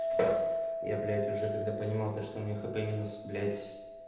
я блять уже когда понимал то что мне хп минус блять